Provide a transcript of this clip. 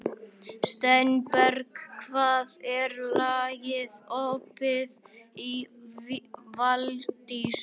Steinberg, hvað er lengi opið í Valdís?